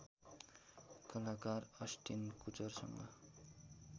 कलाकार अस्टिन कुचरसँग